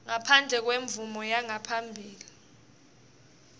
ngaphandle kwemvumo yangaphambilini